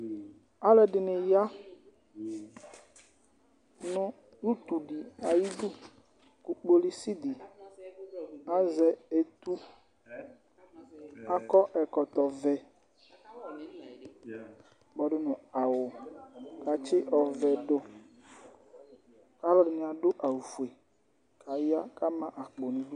Alʋɛdɩnɩ ya nʋ utu dɩ ayidu kʋ kpolusi dɩ azɛ etu Akɔ ɛkɔtɔvɛ kpɔdʋ nʋ awʋ kʋ atsɩdʋ ɔvɛ dʋ kʋ alʋ dɩnɩ adʋ awʋfue kʋ aya kʋ ama akpo nʋ idu